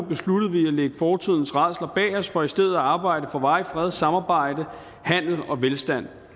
lægge fortiden rædsler bag os for i stedet for at arbejde for varig fred samarbejde handel og velstand